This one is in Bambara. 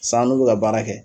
Sisan an n'u bi ka baara kɛ